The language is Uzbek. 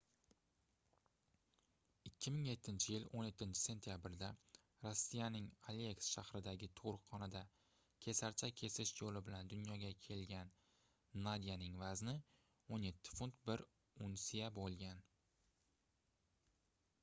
2007-yil 17-sentyabrda rossiyaning aleysk shahridagi tugʻruqxonada kesarcha kesish yoʻli bilan dunyoga kelgan nadyaning vazni 17 funt 1 unsiya boʻlgan